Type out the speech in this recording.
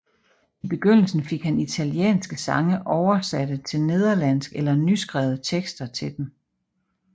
I begyndelsen fik han italienske sange oversætte til nederlandsk eller nyskrevet tekster til dem